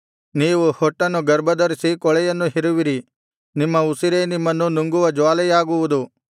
ನೀವು ಹೊಟ್ಟನ್ನು ಗರ್ಭಧರಿಸಿ ಕೂಳೆಯನ್ನು ಹೆರುವಿರಿ ನಿಮ್ಮ ಉಸಿರೇ ನಿಮ್ಮನ್ನು ನುಂಗುವ ಜ್ವಾಲೆಯಾಗುವುದು